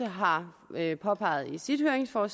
har påpeget i sit høringssvar